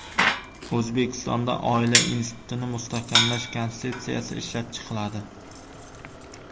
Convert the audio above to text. O‘zbekistonda oila institutini mustahkamlash konsepsiyasi ishlab chiqiladi.